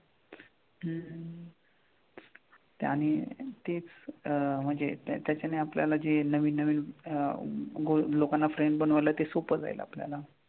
हम्म हम्म ते आणि तीच अह म्हणजे त्याच्यानी आपल्याला जी नवीन नवीन अह गो लोकांना friend बनवायला ते सोपं जाईल आपल्याला.